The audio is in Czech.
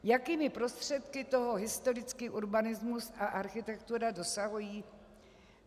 Jakými prostředky toho historický urbanismus a architektura dosahují?